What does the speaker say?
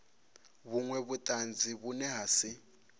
vhunwe vhutanzi vhune ha si